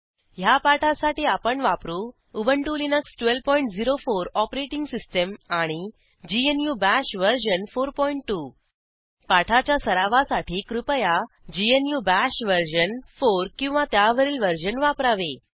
httpwwwspoken tutorialorg ह्या पाठासाठी आपण वापरू उबंटु लिनक्स 1204 ओएस आणि ग्नू बाश वर्जन 42 पाठाच्या सरावासाठी कृपया ग्नू बाश वर्जन 4 किंवा त्यावरील वर्जन वापरावे